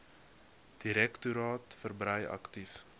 direktoraat verbrei aktief